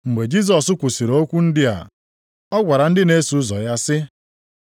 Mgbe Jisọs kwusiri okwu ndị a, ọ gwara ndị na-eso ụzọ ya sị,